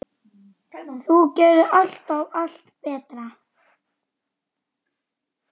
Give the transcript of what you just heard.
Þú gerðir alltaf allt betra.